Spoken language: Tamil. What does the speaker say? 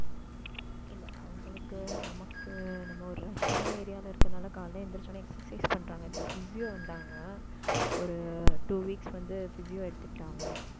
இல்லை, அவங்களுக்கு நமக்கு, நம்ம ஒரு rush ஆன area ல இருக்குறதுனால காலையில எந்திரிச்சா உடனே exercise பண்றாங்க. இப்ப physio வந்தாங்க. ஒரு two weeks வந்து, physio எடுத்துக்கிட்டாங்க